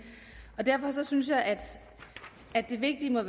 derfor synes jeg at det vigtige i